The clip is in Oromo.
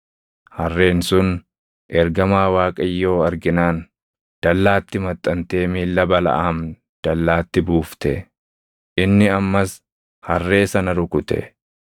Harreen sun ergamaa Waaqayyoo arginaan, dallaatti maxxantee miilla Balaʼaam dallaatti buufte. Inni ammas harree sana rukute.